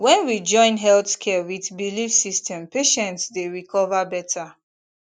when we join health care with belief system patients dey recover better